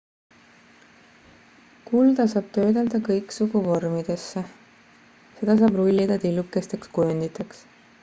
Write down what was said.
kulda saab töödelda kõiksugu vormidesse seda saab rullida tillukesteks kujunditeks